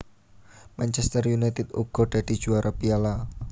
Manchester United uga dadi juwara Piala